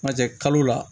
N'a tɛ kalo la